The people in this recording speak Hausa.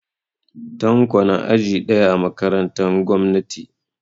Tanko na aji ɗaya a makarantan gwamnati